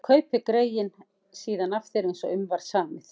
Ég kaupi greyið síðan af þér eins og um var samið.